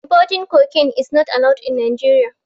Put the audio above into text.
Importing cocaine is not allowed in Nigeria.